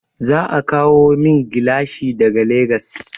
Za a kawo min gilashi daga Legas.